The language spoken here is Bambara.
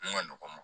Mun ka nɔgɔ